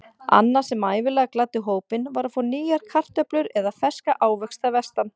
Annað sem ævinlega gladdi hópinn var að fá nýjar kartöflur eða ferska ávexti að vestan.